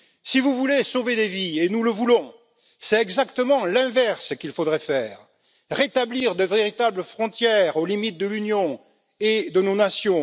Si vous voulez sauver des vies, et nous le voulons, c'est exactement l'inverse qu'il faudrait faire rétablir de véritables frontières aux limites de l'Union et de nos nations